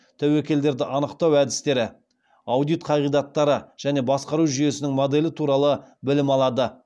тәуекелдерді анықтау әдістері аудит қағидаттары және басқару жүйесінің моделі туралы білім алады